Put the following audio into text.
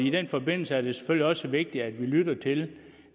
i den forbindelse er det selvfølgelig også vigtigt at vi lytter til